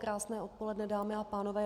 Krásné odpoledne, dámy a pánové.